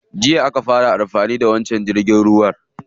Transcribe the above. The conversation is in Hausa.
Jiya aka fara amfani da wancan jirgin ruwa.